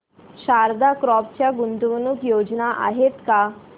Sharda crop च्या गुंतवणूक योजना आहेत का